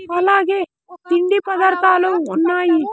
అలాగే తిండి పదార్థాలు ఉన్నాయి.